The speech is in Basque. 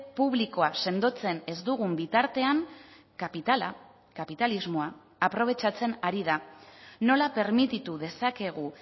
publikoa sendotzen ez dugun bitartean kapitala kapitalismoa aprobetxatzen ari da nola permititu dezakegu